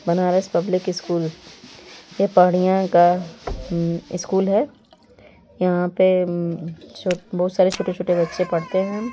Banaras public school यह पढिया का स्कूल है यहाँ पे बहुत सारे छोटे -छोटे बच्चे पढ़ते हैं।